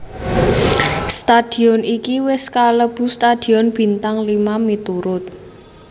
Stadion iki wis kalebu stadion bintang lima miturut